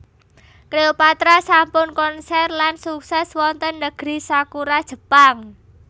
Cleopatra sampun konser lan sukses wonten negeri Sakura Jepang